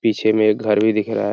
पीछे में एक घर भी दिख रहा है |